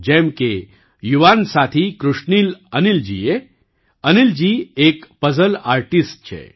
જેમ કે યુવાન સાથી કૃશનીલ અનિલજીએ અનિલજી એક પઝલ આર્ટિસ્ટ છે